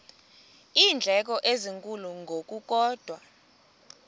iindleko ezinkulu ngokukodwa